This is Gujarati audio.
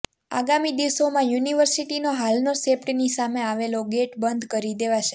આગામી દિવસોમાં યુનિવર્સિટીનો હાલનો સેપ્ટની સામે આવેલો ગેટ બંધ કરી દેવાશે